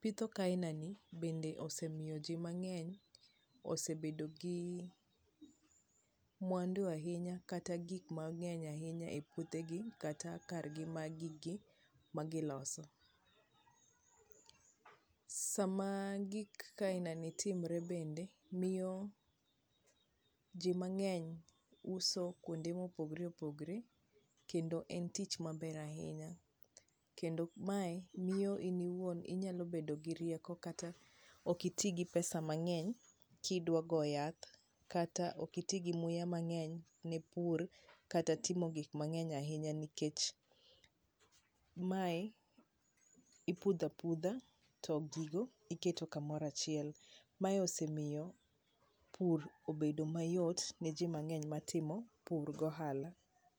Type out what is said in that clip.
Pitho kaina ni bende osemiyo ji mang'eny osebedo gi mwandu ahinya kata gik mang'eny ahinya e puothe gi kata kar gi ma giloso. Sama gik kaina ni timre bende, miyo ji mang'eny uso kuonde mopogre opogre, kendo en tich maber ahinya. Kendo mae miyo in iwuon inyalo bedo gi rieko kata ok iti gi pesa mang'eny kidwa go yath kata ok iti gi luya mang'eny ne pur kata timo gik mang'eny ahinya, nikech mae, ipudha pudha to gigo iketo kamoro achiel. Mae osemiyo pur obrdo mayot ne ji mang'eny matimi pur gi ohala.